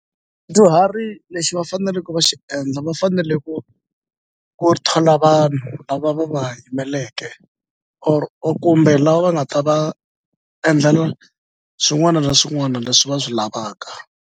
lexi va faneleke va xi endla va fanele ku ku thola vanhu lava va va yimeleke or kumbe lava va nga ta va endlela swin'wana na swin'wana leswi va swi lavaka.